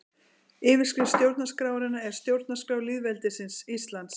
Yfirskrift stjórnarskrárinnar er Stjórnarskrá lýðveldisins Íslands.